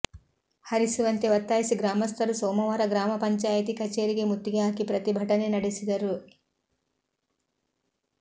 ಹರಿಸುವಂತೆ ಒತ್ತಾಯಿಸಿ ಗ್ರಾಮಸ್ಥರು ಸೋಮವಾರ ಗ್ರಾಮ ಪಂಚಾಯಿತಿ ಕಚೇರಿಗೆ ಮುತ್ತಿಗೆ ಹಾಕಿ ಪ್ರತಿಭಟನೆ ನಡೆಸಿದರು